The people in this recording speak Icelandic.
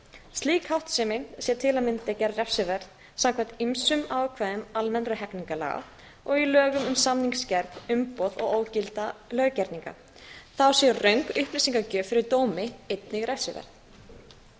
slík háttsemi sé til að mynda gerð refsiverð samkvæmt ýmsum ákvæðum almennra hegningarlaga og lögum um samningsgerð umboð og ógilda löggerninga þá sé röng upplýsingagjöf fyrir dómi einnig refsiverð